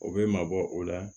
O bɛ mabɔ o la